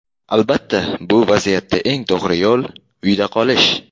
Albatta, bu vaziyatda eng to‘g‘ri yo‘l – uyda qolish!